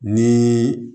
Ni